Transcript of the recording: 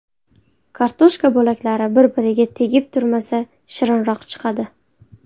Kartoshka bo‘laklari bir-biriga tegib turmasa shirinroq chiqadi.